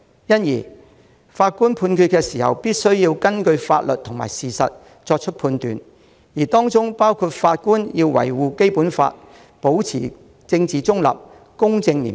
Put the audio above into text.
因此，法官必須根據法律及事實作出判決，法官也要維護《基本法》，保持政治中立，公正廉潔。